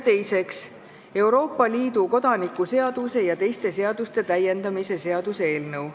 Teiseks, Euroopa Liidu kodaniku seaduse ja teiste seaduste täiendamise seaduse eelnõu.